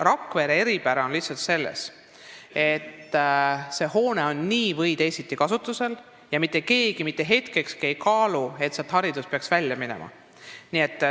Rakvere eripära on lihtsalt selles, et see hoone on nii või teisiti kasutusel ja mitte keegi mitte hetkekski ei ole kaalunud võimalust, et haridusasutus peaks sealt välja minema.